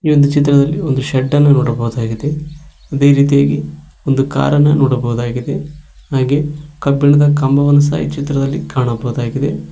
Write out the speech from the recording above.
ಒಂದು ಚಿತ್ರದಲ್ಲಿ ಒಂದು ಶೆಡ್ ಅನ್ನು ನೋಡಬಹುದಾಗಿದೆ ಅದೇ ರೀತಿಯಾಗಿ ಒಂದು ಕಾರ್ ಅನ್ನು ನೋಡಬಹುದಾಗಿದೆ ಹಾಗೆ ಕಬ್ಬಿಣದ ಕಂಬವನ್ನು ಸಹ ಕಾಣಬಹುದಾಗಿದೆ.